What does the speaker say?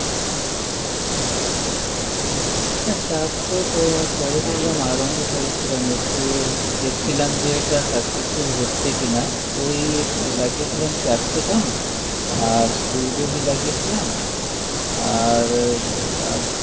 হ্যাঁ চাষ তো ককরেছিলাম আরম্ভ করেছিলাম একটু দেখছিলাম যে এটা successful হচ্ছে কিনা ওই লাগিয়েছিলাম ক্যাপসিকাম আর ফুলকপি লাগিয়েছিলাম আর আর